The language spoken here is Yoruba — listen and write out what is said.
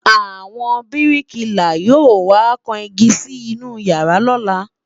àwọn biriki là yọ wà kàn ìgi Si inú yàrá lola